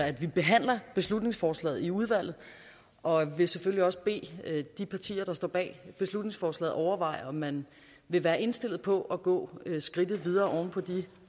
at vi behandler beslutningsforslaget i udvalget og jeg vil selvfølgelig også bede de partier der står bag beslutningsforslaget overveje om man vil være indstillet på at gå skridtet videre oven på de